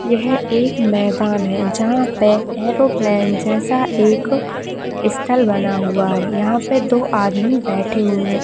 यह एक मैदान है जहाँ पे एरोप्लेन जैसा एक स्थल बना हुआ है। यहाँ पे दो आदमी बैठे हुए हैं।